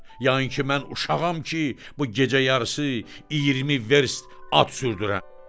Yanı ki, mən uşağam ki, bu gecə yarısı 20 verst at sürdürəm?